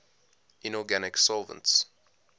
inorganic solvents